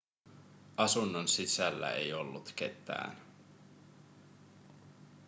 asunnon sisällä ei ollut ketään